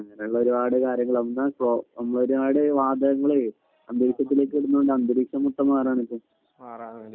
അങ്ങനെയുള്ള ഒരുപാട് കാര്യങ്ങൾ. ഒന്ന് നമ്മൾ ഒരുപാട് വാതകങ്ങൾ അന്തരീക്ഷത്തിലേക്ക് ഇടുന്നത്കൊണ്ടാണ് അന്തരീക്ഷം മൊത്തം മാറുകയാണ് ഇപ്പൊ